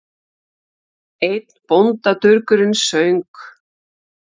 Einn bóndadurgurinn söng